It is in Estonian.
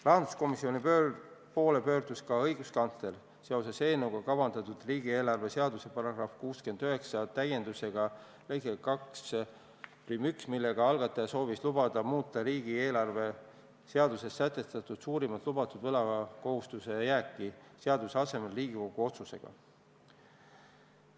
Rahanduskomisjoni poole pöördus ka õiguskantsler seoses sellega, et eelnõus kavandati riigieelarve seaduse § 69 täiendamist lõikega 21, millega algataja soovis lubada muuta riigieelarve seaduses sätestatud suurimat lubatud võlakohustuse jääki seaduse asemel Riigikogu otsusega.